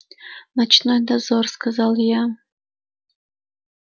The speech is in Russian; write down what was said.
ночной дозор сказал я